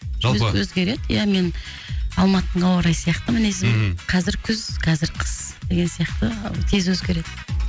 жалпы өзгереді ия мен алматының ауа райы сияқты мінезім ммм қазір күз қазір қыс деген сияқты тез өзгереді